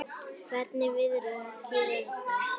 Hvernig viðrar á kjördag?